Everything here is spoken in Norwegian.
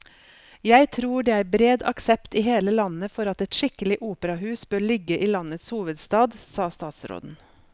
Jeg tror det er bred aksept i hele landet for at et skikkelig operahus bør ligge i landets hovedstad, sa statsråden.